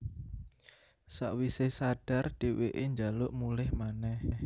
Sawisé sadar dhèwèké njaluk mulih manèh